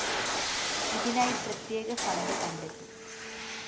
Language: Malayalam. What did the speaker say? ഇതിനായി പ്രത്യേക ഫണ്ട് കണ്ടെത്തും